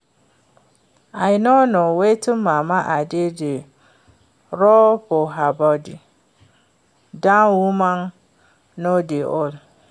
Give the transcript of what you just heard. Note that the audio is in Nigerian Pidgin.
I no know wetin mama Ade dey rub for her body. Dat woman no dey old.